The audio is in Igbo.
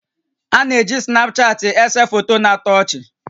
A na-eji Snapchaatị èsè foto na-atọ ọchị